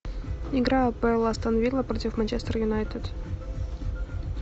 игра апл астон вилла против манчестер юнайтед